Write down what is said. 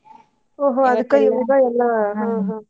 ಓಹೊ ಎಲ್ಲಾ .